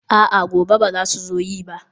a'a, gobe ba za su zo yi ba